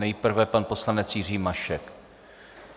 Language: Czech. Nejprve pan poslanec Jiří Mašek.